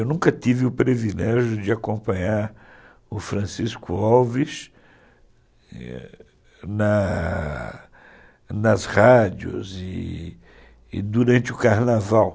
Eu nunca tive o privilégio de acompanhar o Francisco Alves na nas rádios e durante o carnaval.